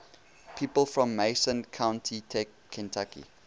people from mason county kentucky